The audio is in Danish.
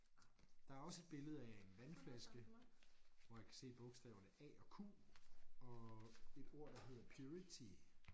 Der er også et billede af en vandflaske hvor jeg kan se bogstaverne a og q og et ord der hedder purity